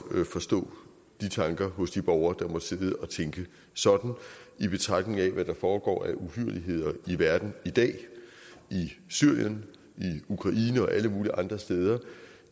kan forstå de tanker hos de borgere der måtte sidde og tænke sådan i betragtning af hvad der foregår af uhyrligheder i verden i dag i syrien i ukraine og alle mulige andre steder